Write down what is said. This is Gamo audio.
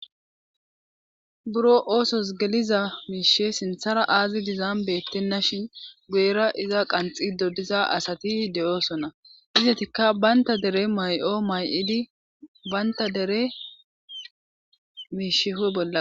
buro oosos geliza miishe sinthara aazi dizaam bettenna shin guyera iza qanxi didosa asati de7oosona izetikka baynta dere may7o may7idi baynta dere miisheho bolla